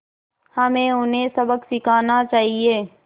हमें उन्हें सबक सिखाना चाहिए